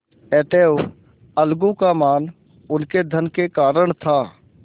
अतएव अलगू का मान उनके धन के कारण था